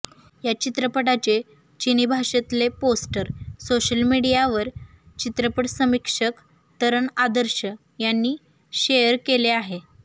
या चित्रपटाचे चिनी भाषेतले पोस्टर सोशल मीडियावर चित्रपट समीक्षक तरण आदर्श यांनी शेअर केले आहे